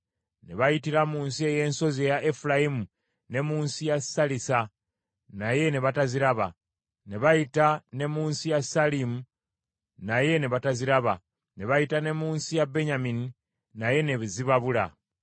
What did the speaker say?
Ne bayitira mu nsi ey’ensozi eya Efulayimu ne mu nsi ya Salisa, naye ne bataziraba. Ne bayita ne mu nsi ya Saalimu naye ne bataziraba. Ne bayita ne mu nsi ye Benyamini, naye ne zibabula.